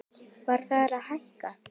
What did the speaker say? Verð þarf að hækka